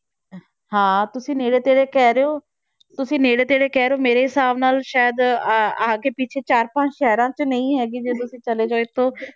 ਹਾਂ ਤੁਸੀਂ ਨੇੜੇ ਤੇੜੇ ਕਹਿ ਰਹੇ ਹੋ, ਤੁਸੀਂ ਨੇੜੇ ਤੇੜੇ ਕਹਿ ਰਹੇ ਹੋ ਮੇਰੇ ਹਿਸਾਬ ਨਾਲ ਸ਼ਾਇਦ ਆ ਆ ਕੇ ਪਿੱਛੇ ਚਾਰ ਪੰਜ ਸ਼ਹਿਰਾਂ 'ਚ ਨਹੀਂ ਹੈਗੀ ਜੇ ਤੁਸੀਂ ਚਲੇ ਗਏ ਤਾਂ